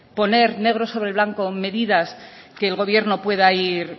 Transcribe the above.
poner negro sobre blanco medidas que el gobierno pueda ir